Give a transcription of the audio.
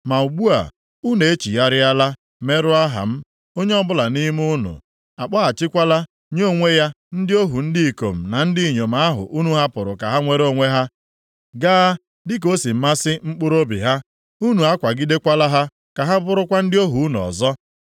Ma ugbu a, unu echigharịala, merụọ aha m; onye ọbụla nʼime unu akpọghachikwala nye onwe ya ndị ohu ndị ikom na ndị inyom ahụ unu hapụrụ ka ha nwere onwe ha, gaa dịka o si masị mkpụrụobi ha. Unu akwagidekwala ha ka ha bụrụkwa ndị ohu unu ọzọ.